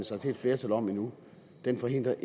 sig til et flertal om endnu det forhindrer